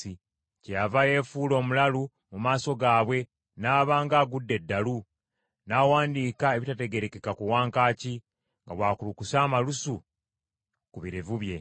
Kyeyava yeefuula omulalu mu maaso gaabwe, n’aba ng’agudde eddalu, n’awandiika ebitategeerekeka ku wankaaki, nga bw’akulukusa amalusu ku birevu bye.